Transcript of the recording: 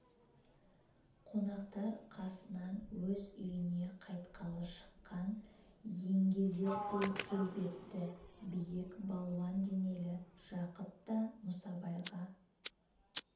қонақтар қасынан өз үйіне қайтқалы шыққан еңгезердей келбетті биік балуан денелі жақыт та мұсабайға